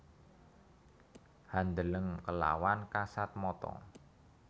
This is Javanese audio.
Handeleng kelawan kasat mata